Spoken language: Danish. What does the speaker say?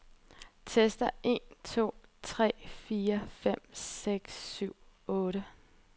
Tester en to tre fire fem seks syv otte.